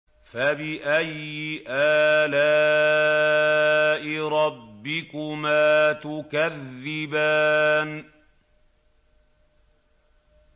فَبِأَيِّ آلَاءِ رَبِّكُمَا تُكَذِّبَانِ